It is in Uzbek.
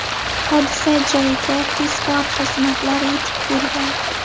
Hodisa joyiga tezkor xizmatlar yetib kelgan.